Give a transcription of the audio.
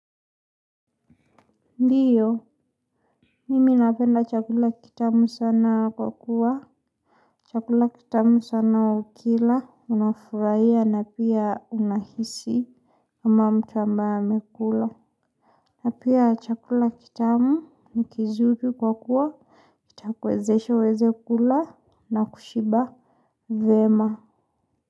Ndiyo, mimi napenda chakula kitamu sana kwa kuwa. Chakula kitamu sana ukila, unafurahia na pia unahisi kama mtu ambaye amekula. Na pia chakula kitamu ni kizuri kwa kuwa, itakuwezesha uweze kula na kushiba vyema.